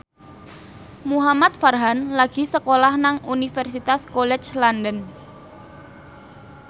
Muhamad Farhan lagi sekolah nang Universitas College London